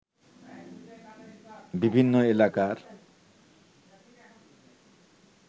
বিভিন্ন এলাকার